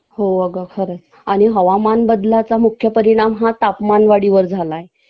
हो अगं खरंच आणि हवामान बदलाचा मुख्य परिणाम हा तापमान वाढीवर झालाय